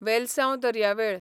वेलसांव दर्यावेळ